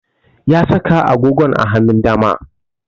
Ya saka agogon a hanun dama